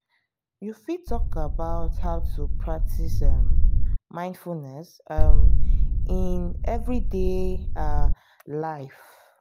you fit talk about how to practice um mindfulness um in everyday um life.